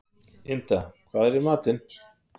Ynda, hvað er í matinn?